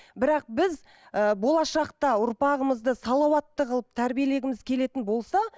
бірақ біз ыыы болашақта ұрпағымызды салауатты қылып тәрбиелегіміз келетін болса